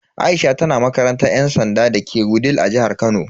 Aisha tana makarantar yan sanda dake Wudil a jihar Kano.